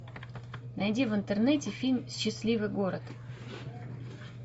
найди в интернете фильм счастливый город